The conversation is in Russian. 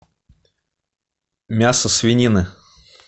мясо свинины